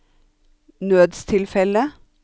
nødstilfelle